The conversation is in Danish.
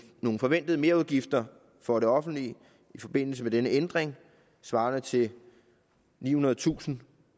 nogle forventede merudgifter for det offentlige i forbindelse med denne ændring svarende til nihundredetusind